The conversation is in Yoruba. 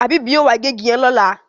Habib yóò wá gé ìgi yen lọla